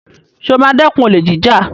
Sọ ma dẹ́kun olè jíjà?